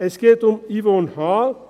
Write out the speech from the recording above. Es geht um Yvonne H.